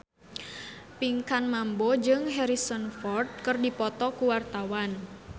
Pinkan Mambo jeung Harrison Ford keur dipoto ku wartawan